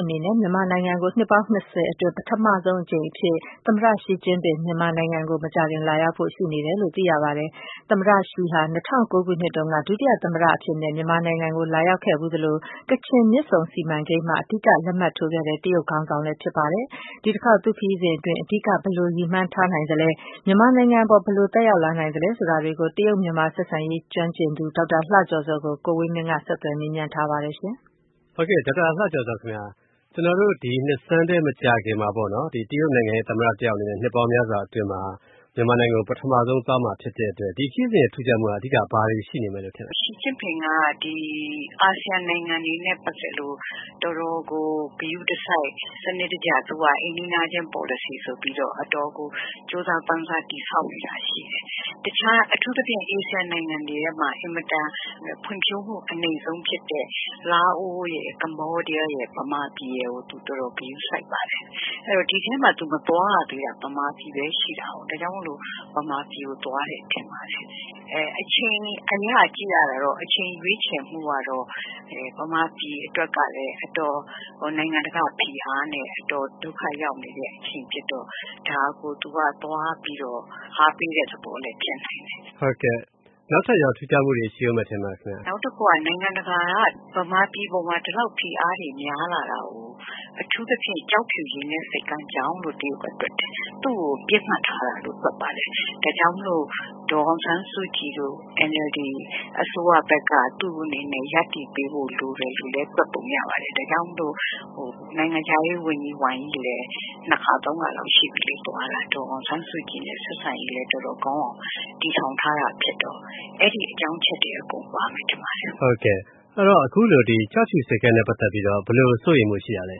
အနေနဲ့ မြန်မာနိုင်ငံကို နှစ် ၂၀အတွင်း ပထမဆုံးအကြိမ်အဖြစ် သမ္မတ Xi Jinping မြန်မာနိုင်ငံကို မကြာခင်လာရောက်ဖို့ ရှိနေတယ်လို့ သိရပါတယ်။ သမ္မတ Xi Jinping ဟာ ၂၀၀၉ ခုနှစ်တုန်းကတော့ ဒုသမ္မတအဖြစ်နဲ့ မြန်မာနိုင်ငံကို လာရောက်ခဲ့ဖူးသလို၊ ကချင် မြစ်ဆုံစီမံကိန်းမှာ အဓိက လက်မှတ်ထိုးခဲ့တဲ့ တရုတ်ခေါင်းဆောင်လည်းဖြစ်ပါတယ်။ ဒီ တခေါက် သူ့ခရီးစဉ်အတွင်း အဓိက ဘယ်လို ရည်မှန်းထားနိုင်သလဲ၊ မြန်မာနိုင်ငံအပေါ် ဘယ်လို သက်ရောက်လာနိုင်သလဲ ဆိုတာတွေကို တရုတ် မြန်မာဆက်ဆံရေး ကျွမ်းကျင်သူ ဒေါက်တာလှကျော်ဇောကို ကိုဝင်မင်း ဆက်သွယ်မေးမြန်းထားပါတယ်။ ဒီနှစ်ဆန်း မကြာခင်မှာ တရုတ်နိုင်ငံ သမ္မတ တယောက်အနေနဲ့ နှစ်ပေါင်းများစွာအတွင်းမှာ မြန်မာနိုင်ငံကို ပထမဦးဆုံးသွားမှာဖြစ်တဲ့အတွက် ဒီခရီးစဉ်ရဲ့ အဓိက ထူးခြားမှုက ဘာတွေရှိနေမလဲလို့ ထင်ပါသလဲ။ သမ္မတ Xi Jinping က အာဆီယံနိုင်ငံတွေနဲ့ ပတ်သက်လို့ တော်တော်ကို ဂရုတစိုက် စနစ်တကျ သွားဖို့ အိမ်နီးချင်းပေါ်လစီဆိုပြီးတော့ အတော်ကို ကြိုးစားပမ်းစား တည်ဆောက်နေတာရှိတယ်။ အထူးသဖြင့် အာဆီယံနိုင်ငံတွေမှာ ဖွံ့ဖြိုးမှု အနိမ့်ဆုံးဖြစ်တဲ့ လာအို၊ Cambodia ၊ မြန်မာရယ်ကို သူတော်တော် ဂရုစိုက်ပါတယ်။ ဒီအထဲမှာ သူမသွားရသေးတာက မြန်မာပြည်ပဲ ရှိတာကို ဒါကြောင့် မြန်မာပြည်ကို သွားတယ်ထင်ပါတယ်။ အချိန်အရ ကြည့်ရတာတော့ အချိန်ရွေးချယ်မှုကတော့ မြန်မာပြည်အတွက်က အတော် နိုင်ငံတကာ ဖိအားနဲ့ အတော်ဒုက္ခရောက်နေတဲ့ အချိန်ဖြစ်တော့ ဒါကို သူကသွားပြီးတော့ အားပေးတဲ့ သဘောလည်းဖြစ်နိုင်တယ်။ နောက်ထပ် ထူးခြားမှုတွေ ရှိဦးမယ်လို့ ထင်ပါသလား။ နောက်တခုက နိုင်ငံတကာက မြန်မာပြည်အပေါ်မှာ ဒီလောက်ဖိအားတွေ များလာတာကို အထူးသဖြင့် ကျောက်ဖြူရေနက်ဆိပ်ကမ်းကြောင့်လို့ တွက်တယ်၊ သူ့ကို ပြစ်မှတ်ထားလာတာလို့ တွက်ပါတယ်။ ဒါကြောင့် ဒေါ်အောင်ဆန်းစုကြည်တို့ NLD အစိုးရဘက်က ရပ်တည်ပေးဖို့ လိုတယ်လို့လည်း တွက်ပုံရတယ်။ ဒါကြောင့်မို့လို့ နိုင်ငံခြားရေးဝန်ကြီး ဝမ်ယီလည်း သွားတာ ၂ ခါ၊ ၃ ခါလောက်ရှိပြီ ဒေါ်အောင်ဆန်းစုကြည်နဲ့ ဆက်ဆံရေးကောင်းအောင် တည်ထောင်ထားတာဖြစ်တော့ အဲဒီအကြောင်းအချက်တွေ အကုန်ပါမယ်ထင်ပါတယ်။ ကျောက်ဖြူရေနက်ဆိပ်ကမ်းနဲ့ ပတ်သက်ပြီးတော့ ဘယ်လိုစိုးရိမ်မှုရှိတာလဲ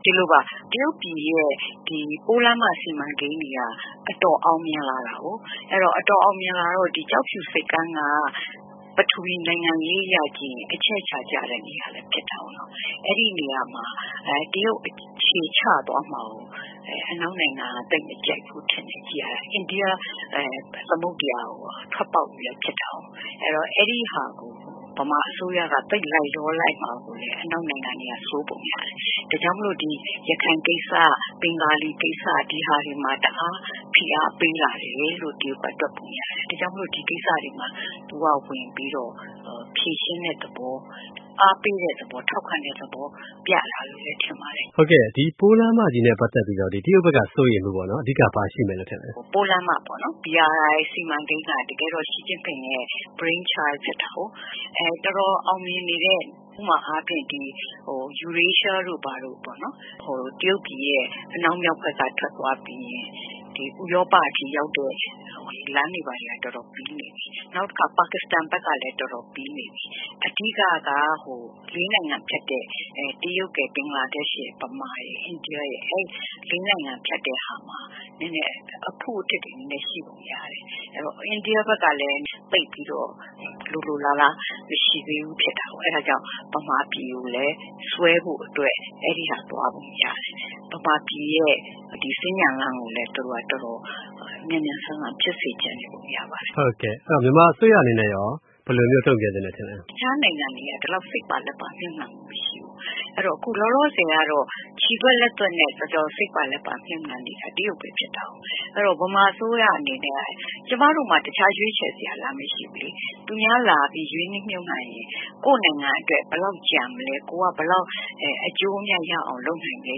။ ဒီလိုပါ တရုတ်ပြည်ရဲ့ ပိုးလမ်းမ စီမံကိန်းတွေက အတော်အောင်မြင်လာတော့ ၊ ကျောက်ဖြူဆိပ်ကမ်းက ပထဝီ နိုင်ငံရေး အရ ကြည့်ရင် အချက်အချာကျတဲ့ နေရာလည်း ပါတယ်။ အဲဒီနေရာမှာ တရုတ်အခြေချသွားမှာကို အနောက်နိုင်ငံက သိပ်မကြိုက်ဘူးထင်တယ်၊ ကြည့်ရတာ ။ အိန္ဒိယ သမုဒ္ဒရာ ထွက်ပေါက်လည်းဖြစ်တာကို။ ဆိုတော့ အဲဒါကို မြန်မာအစိုးရက သိပ်လိုက်လျောလိုက်မှာကိုလည်း အနောက်နိုင်ငံတွေက စိုးရိမ်ပုံရတယ်။ ဒါကြောင့်မို့လို့ ဒီ ရခိုင်ကိစ္စ၊ ဘင်္ဂါလီကိစ္စ ဒါတွေမှာ တအား ဖိအားပေးလာတယ်လို့ တရုတ်တွက်ပုံရတယ်။ ဒါကြောင့်မို့လို့ ဒီကိစ္စတွေမှာ သူက ဝင်ပြီးတော့ ဖြေရှင်းတဲ့သဘော ၊ အားပေးတဲ့ သဘော၊ ထောက်ခံတဲ့သဘော ပြတာလို့လည်း ထင်ပါတယ်။ ဒီပိုးလမ်းမနဲ့ ပတ်သက်ပြီးတော့ တရုတ်ဘက်က စိုးရိမ်မှုပေါ့နော် အဓိက ဘာရှိမယ်လို့ ထင်ပါသလဲ။ ပိုးလမ်းမပေါ့နော်ဒီစီမံကိန်းက Xi Jinping ရဲ့ brainchild ဖြစ်တာကို ။ တော်တော်အောင်မြင်နေတဲ့ ဥပမာအားဖြင့် Eurasia တို့ဘာတို့ပေ့ါ့နော် တရုတ်ပြည်ရဲ့ အနောက်မြောက်ဘက်က ထွက်သွားပြီးရင် ဥရောပအထိ ရောက်တဲ့ လမ်းတွေက တော်တော်ပြီးနေပြီ။ နောက်တခါ ပါကစ္စတန်ဘက်ကလည်း တော်တော်ပြီးနေပြီ။ အဓိက ၄ နိုင်ငံဖြတ်တဲ့ တရုတ်ရယ် ဘင်္ဂလားဒေ့ရှ်ရယ်၊ မြန်မာရယ် ၊ အိန္ဒိယရယ် အဲဒီ ၄ နိုင်ငံ ဖြတ်တဲ့ဟာမှာ အဖုအထစ်တွေ ရှိပုံရတယ်။ အဲဒီတော့ အိန္ဒိယဘက်ကလည်း သိပ်ပြီးတော့ လိုလိုလားလား သိပ်ပြီးတော့ မရှိသေးဘူးထင်တာကို။ အဲဒါကြောင့် မြန်မာပြည်ကိုလည်း ဆွဲဖို့အတွက် အဲဒါသွားပုံရတယ်။ မြန်မာပြည် စင်္ကြန်လမ်းကို သူတို့ တော်တော်မြန်မြန်ဆန်ဆန်ဖြစ်စေချင်တယ်ပေါ့နော်။ မြန်မာအစိုးရအနေနဲ့ရော ဘယ်လိုမျိုး တုံ့ပြန်သင့်တယ်လို့ ထင်ပါသလဲ။ တခြားနိုင်ငံတွေက ဒီလောက်စိတ်ပါလက်ပါ မြုှပ်နှံမှု မရှိဘူး။ အဲဒီတော့ လောလောဆည် ခြေသွက်လက်သွယ်နဲ့ စိတ်ပါလက်ပါ မြှုပ်နှံနေတာ တရုတ်ပဲ ဖြစ်တာကို ။ အဲဒီတော့ မြန်မာအစိုးရအနေနဲ့ ကျမတို့မှာ တခြားရွေးချယ်စရာ လမ်းမရှိဘူးလေ။ သူများလာပြီး ရင်းနှီးမြှုပ်နှံရင် ကိုယ့်နိုင်ငံအတွက် ဘယ်လောက်ကျန်မလဲ ၊ ကိုယ်က အကျိုးအမြတ်ရအောင် လုပ်နိုင်မလဲ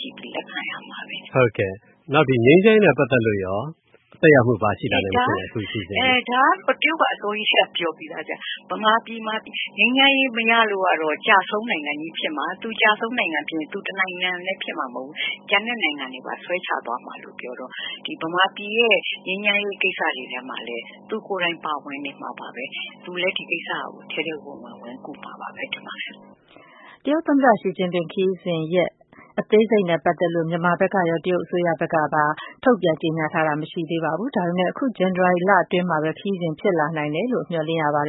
ကြည့်ပြီး လက်ခံရမှာပဲ။ ငြိမ်းချမ်းရေးနဲ့ ပတ်သက်လို့ရော သက်ရောက်မှု ဘာတွေရှိလာနိုင်မလဲအခု။ ဒါက တရုတ်က အစောကြီးကတည်းက ပြောပြီးသား မြန်မာပြည်မှာ ငြိမ်းချမ်းရေးမရလို့ကတော့ ကျဆုံးနိုင်ငံကြီးဖြစ်မှာ ။ ဒါအပြင် သူတနိုင်ငံတည်းဖြစ်မှာမဟုတ်ဘူး ကျန်တဲ့ နိုင်ငံတွေကိုပါ ဆွဲချသွားမှာပြောတော့ မြန်မာပြည်ရဲ့ ငြိမ်းချမ်းရေး ကိစ္စမှာလည်း သူကိုယ်တိုင်ပါဝင်နေမှာပဲ၊ သူလည်း ဒီကိစ္စကို ထဲထဲဝင်ဝင် ကူမယ်လို့ ထင်ပါတယ်။ တရုတ် သမ္မတ Xi Jinping ခရီးစဉ်ရက် အသေးစိတ်နဲ့ ပတ်သက်လို့တော့ မြန်မာရော ၊ တရုတ် အစိုးရဘက်ကရော ထုတ်ပြန်ကြေညာတာမရှိသေးပါဘူး။ ဒါပေမယ့် အခု ဇန်နဝါရီလအတွင်းမှာပဲ ခရီးစဉ်ဖြစ်လာနိုင်တယ်လို့ မျှော်လင့်ရပါတယ်